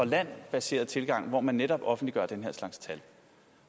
land baseret tilgang hvor man netop offentliggør den her slags tal